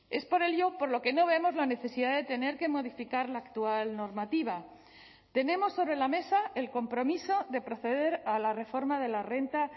es por ello por lo que no vemos la necesidad de tener que modificar la actual normativa tenemos sobre la mesa el compromiso de proceder a la reforma de la renta